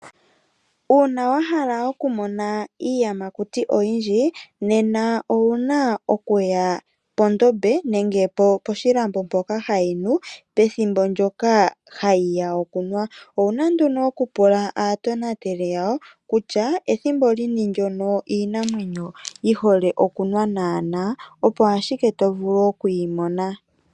Uuna wahala okumona iiyamakuti oyindji nena owuna okuya pondombe nenge poshilambo mpoka hayi nu pethimbo ndoka hayi ya okunwa. Owuna nduno okupula aatonateli yawo kutya ethimbo lini ndono iinamwenyo yihole okunwa naana opo ashike tovulu oku yimona.